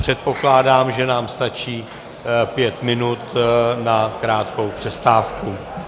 Předpokládám, že nám stačí pět minut na krátkou přestávku.